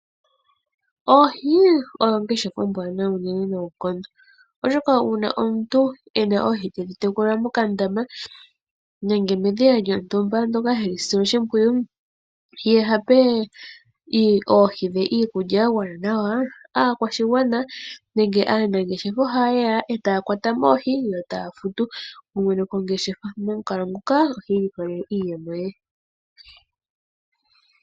Oohi oyo ongeshefa ombwanawa unene nonkondo oshoka una omuntu ena oohi tedhitekula mokandama nenge medhiya lyontumba moka hedhisile oshipwiyu ye hape oohi dhe iikulya yangwana nawa, akwashingwana nenge anangeshefa ohayeya eta kwatamo oohii yo etafutu mwene oongeshefa momunkalo nguka oti ilikolele iiyemo ye.